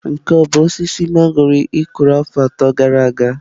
Nke a ọ bụ osisi mangọrọ ị kụrụ afọ atọ gara aga?